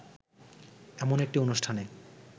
এমন একটি অনুষ্ঠানে